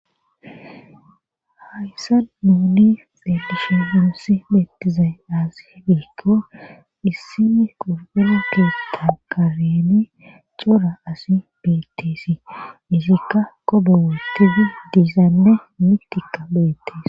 hayssa muuni dedisha gurosi beettizay aasi hegeekko issimi qobela keeta qareni cora asi bettisi izikka qobe wotidi diizaanne mitika beettees